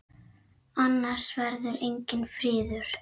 Annars verður enginn friður.